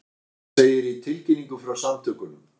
Þetta segir í tilkynningu frá samtökunum